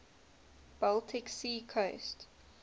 baltic sea coast